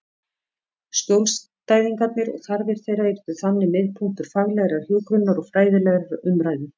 Skjólstæðingarnir og þarfir þeirra yrðu þannig miðpunktur faglegrar hjúkrunar og fræðilegrar umræðu.